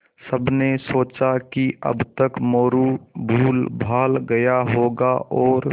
सबने सोचा कि अब तक मोरू भूलभाल गया होगा और